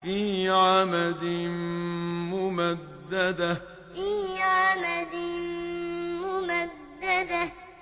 فِي عَمَدٍ مُّمَدَّدَةٍ فِي عَمَدٍ مُّمَدَّدَةٍ